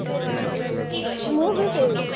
ମୁଁ ବି ସେଇ